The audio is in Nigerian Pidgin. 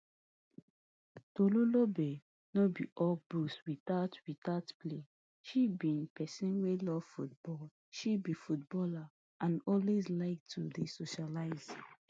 tolulolpe no be all books without without play she be pesin wey love football she be footballer and always like to dey socialise